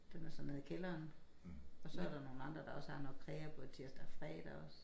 Det var så nede i kælderen og så der nogen andre der også har noget krrea både tirsdag og fredag også